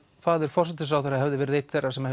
faðir forsætisráðherra hefði verið einn þeirra sem